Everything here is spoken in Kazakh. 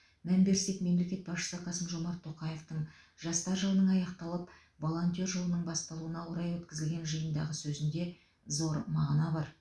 мән берсек мемлекет басшысы қасым жомарт тоқаевтың жастар жылының аяқталып волонтер жылының басталуына орай өткізілген жиындағы сөзінде зор мағына бар